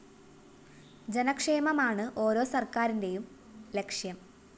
ജനക്ഷേമമാണ് ഓരോ സര്‍ക്കാറിന്റെയും ലക്ഷ്യം